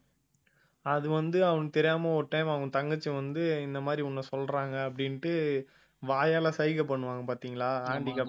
அதுவந்து அவனுக்கு தெரியாம ஒரு time அவ தங்கச்சி வந்து இந்த மாதிரி உன்னை சொல்றாங்க அப்பிடின்ட்டு வாயால சைகை பண்ணுவாங்க பாத்திங்களா handicap